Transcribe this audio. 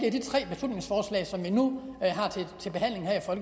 i de tre beslutningsforslag som vi nu